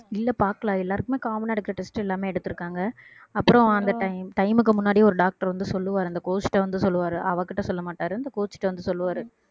இல்ல பாக்கல அது எல்லாருக்குமே common ஆ இருக்கிற test எல்லாமே எடுத்திருக்காங்க அப்புறம் அந்த time time க்கு முன்னாடி ஒரு doctor வந்து சொல்லுவாரு அந்த coach ட வந்து சொல்லுவாரு அவகிட்ட சொல்ல மாட்டாரு அந்த coach ட வந்து சொல்லுவாரு